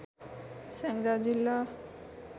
स्याङ्जा जिल्ला